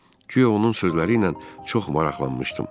Guya onun sözləri ilə çox maraqlanmışdım.